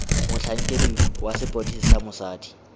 motlhankedi wa sepodisi wa mosadi